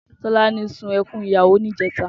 Tolani sún èkùn ìyáwó nijètá